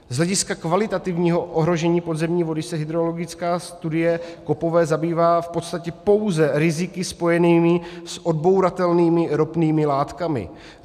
Z hlediska kvalitativního ohrožení podzemní vody se hydrologická studie Koppové zabývá v podstatě pouze riziky spojenými s odbouratelnými ropnými látkami.